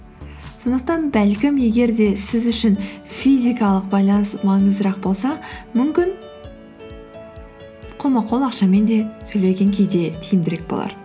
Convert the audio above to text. сондықтан бәлкім егер де сіз үшін физикалық байланыс маңыздырақ болса мүмкін қолма қол ақшамен де төлеген кейде тиімдірек болар